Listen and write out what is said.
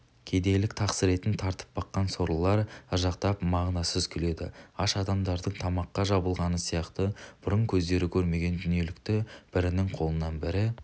кедейлік тақсіретін тартып баққан сорлылар ыржақтап мағынасыз күледі аш адамдардың тамаққа жабылғаны сияқты бұрын көздері көрмеген дүниелікті бірінің қолынан бірі